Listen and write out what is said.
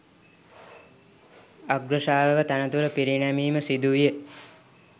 අග්‍ර ශ්‍රාවක තනතුරු පිරිනැමීම සිදුවිය.